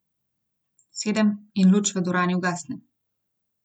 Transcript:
Sedem in luč v dvorani ugasne.